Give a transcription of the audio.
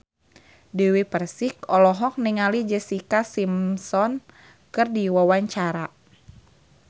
Dewi Persik olohok ningali Jessica Simpson keur diwawancara